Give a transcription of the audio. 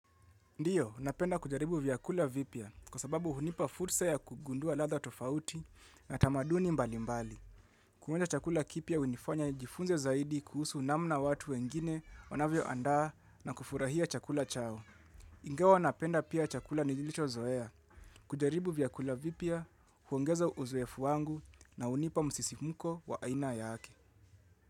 Ndiyo, napenda kujaribu vyakula vipya, kwa sababu hunipa fursa ya kugundua ladha tofauti na tamaduni mbalimbali. Kuonja chakula kipya hunifanya nijifunze zaidi kuhusu namna watu wengine wanavyo andaa na kufurahia chakula chao. Ingawa napenda pia chakula nilichozoea. Kujaribu vyakula vipya huongeza uzoefu wangu na hunipa msisimuko wa aina yake.